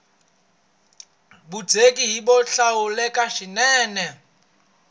vundzeni i byo hlawuleka swinene